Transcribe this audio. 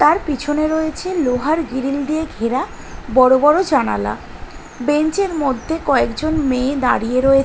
তার পিছনে রয়েছে লোহার গ্রীল দিয়ে ঘেরা বড়ো বড়ো জানালা বেঞ্চের মধ্যে কয়েকজন মেয়ে দাঁড়িয়ে রয়েছে।